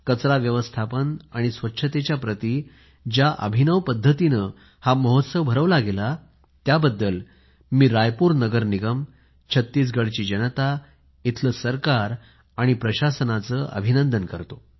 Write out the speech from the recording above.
कचरा व्यवस्थापन आणि स्वच्छतेप्रती ज्या अभिनव पद्धतीने हा महोत्सव भरवला गेला त्याबद्दल मी रायपूर महानगर पालिका छत्तीसगडची जनता इथले सरकार आणि प्रशासनाचे अभिनंदन करतो